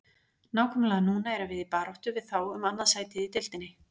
Nákvæmlega núna erum við í baráttu við þá um annað sætið í deildinni.